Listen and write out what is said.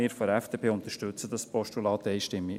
Wir von der FDP unterstützen dieses Postulat einstimmig.